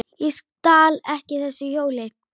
Ég stal ekki þessu hjóli!